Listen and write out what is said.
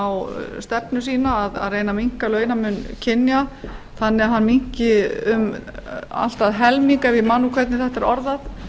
á stefnu sína að reyna að minnka launamun kynja þannig að hann minnki um allt að helming ef ég man hvernig þetta er orðað